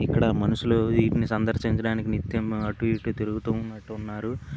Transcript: ఇక్కడ మనుష్యులు ఈటిని సందర్శించటానికి నిత్యం అటు ఇటు తిరుగుతూ ఉన్నట్టున్నారు.